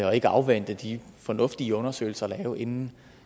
og ikke afvente de fornuftige undersøgelser der er lavet inden